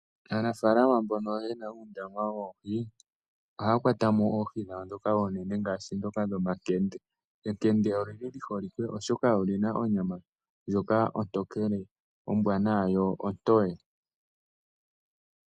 Aanafalama mbono yena uundama woohi ohaya kwatamo oohi dhawo ndhoka oonene ngaashi ndhoka dhOmankende. Enkende olyili lyi holike, oshoka olyina onyama ndjoka ontokele ombwanawa yo ontoye.